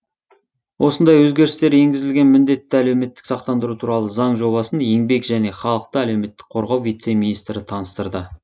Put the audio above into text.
осындай өзгерістер енгізілген міндетті әлеуметтік сақтандыру туралы заң жобасын еңбек және халықты әлеуметтік қорғау вице министрі таныстырды